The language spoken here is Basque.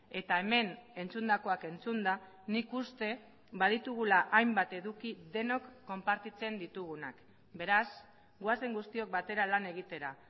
eta hemen entzundakoak entzunda nik uste baditugula hainbat eduki denok konpartitzen ditugunak beraz goazen guztiok batera lan egitera